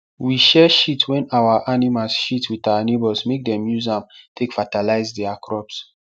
we share shit wen our animals shit with our neighbours make dem use am take fatalize their crops